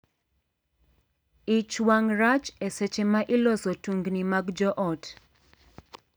Ich wang' rach e seche ma iloso tungni mag joot.